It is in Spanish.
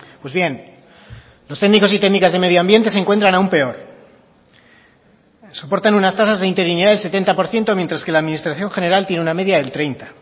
pues bien los técnicos y técnicas de medio ambiente se encuentran aún peor soportan unas tasas de interinidad del setenta por ciento mientras que la administración general tiene una media del treinta